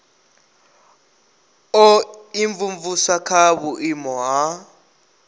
u imvumvusa kha vhuimo ha